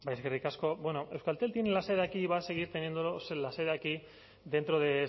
eskerrik asko euskaltel tiene la sede aquí y va a seguir teniendo la sede aquí dentro de